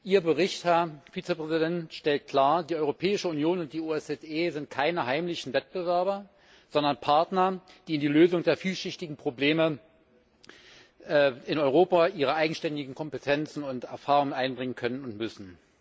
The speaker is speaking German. Ihr Bericht, Herr Vizepräsident, stellt klar Die Europäische Union und die OSZE sind keine heimlichen Wettbewerber, sondern Partner, die in die Lösung der vielschichtigen Probleme in Europa ihre eigenständigen Kompetenzen und Erfahrungen einbringen können und müssen.